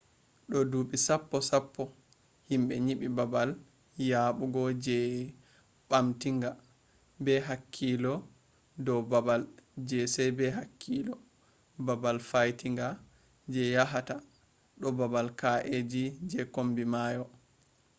do dubi sappo sappo himbe nyibi babal yabugo je bamtinga be hakkilo do babal je sai be hakkilo babal faitinga je yahata do babal kaeji je kombi mayo